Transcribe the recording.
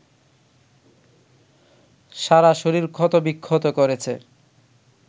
সারা শরীর ক্ষতবিক্ষত করেছে